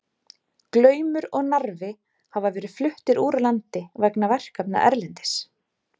Glaumur og Narfi hafa verið fluttir úr landi vegna verkefna erlendis.